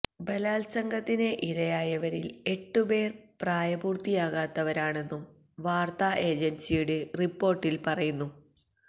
ബലാല്സംഗത്തിന് ഇരയായവരില് എട്ടുപേര് പ്രായപൂര്ത്തിയാകാത്തവരാണെന്നും വാര്ത്താ ഏജന്സിയുടെ റിപ്പോര്ട്ടില് പറയുന്നു